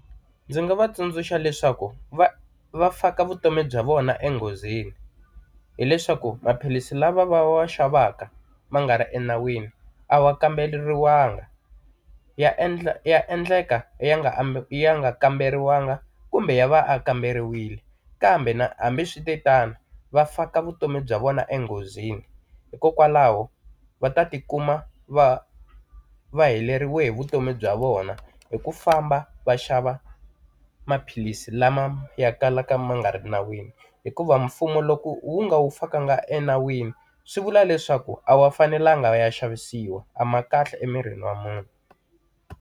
Ndzi nga va tsundzuxa leswaku va va faka vutomi bya vona enghozini. Hileswaku maphilisi lava va va xavaka ma nga ri enawini, a wa kamberiwangi ya endla ya endleka ya nga ambe ya nga kamberiwangi kumbe ya va ya kamberiwile, kambe na hambiswiritano va faka vutomi bya vona enghozini. Hikokwalaho va ta ti kuma va va heleriwe hi vutomi bya vona hi ku famba va xava maphilisi lama ya kalaka ya nga ri nawini. Hikuva mfumo loko wu nga ya fakanga enawini swi vula leswaku a ya fanelanga ya xavisiwa, a ma kahle emirini wa munhu.